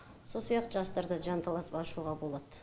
сол сияқты жастар да жан таласып ашуға болады